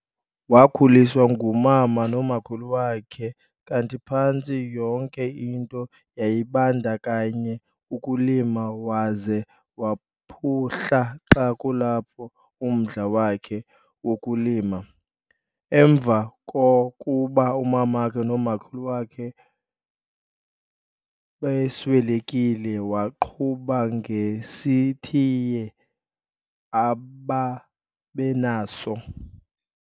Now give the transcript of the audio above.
Wakhuliswa ngumama nomakhulu wakhe kanti phantsi yonke into yayibandakanya ukulima waze waphuhla xa kulapho umdla wakhe wokulima. Emva kokuba umamakhe nomakhulu wakhe beswelekile waqhuba ngesitiya ababenaso.